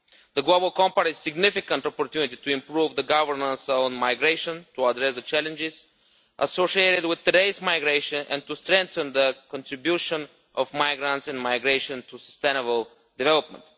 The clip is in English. The global compact is a significant opportunity to improve governance on migration, to address the challenges associated with today's migration, and to strengthen the contribution of migrants and migration to sustainable development.